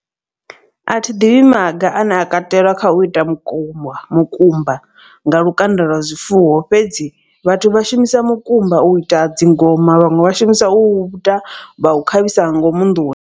A thi ḓivhi maga ane a kateliwa kha u ita mukumba mukumba nga lukanda lwa zwifuwo. Fhedzi vhathu vha shumisa mukumba u ita dzingoma vhaṅwe vha shumisa u ita vha u khavhisa nga ngomu nḓuni.